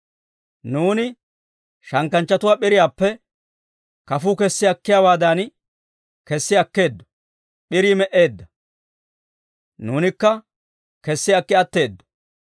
Nuuni shankkanchchatuwaa p'iriyaappe, kafuu kessi akkiyaawaadan kessi akkeeddo. P'irii me"eedda, nuunikka kessi akki atteedo!